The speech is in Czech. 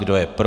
Kdo je pro?